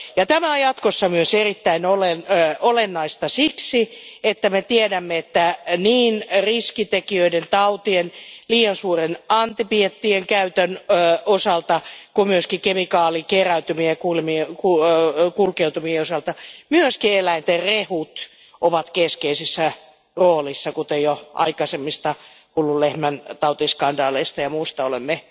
Tämä on jatkossa myös erittäin olennaista siksi, että niin riskitekijöiden, tautien, liian suuren antibioottien käytön osalta kuin myöskin kemikaalikeräytymien ja kulkeutumien osalta myös eläinten rehut ovat keskeisessä roolissa, kuten jo aikaisemmista hullun lehmän tautiskandaaleista ja muusta olemme